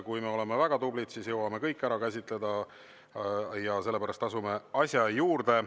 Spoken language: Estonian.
Kui me oleme väga tublid, siis jõuame kõik ära käsitleda, ja sellepärast asume asja juurde.